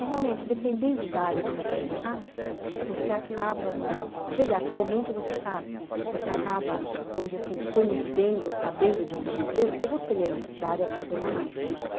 É realmente, dependendo da área que você está, você acaba no, quer dizer, atualmente você sabe, você acaba, vamos dizer assim, conhecendo ou sabendo de outras empresas, porque você lê noticiário e acompanha mais.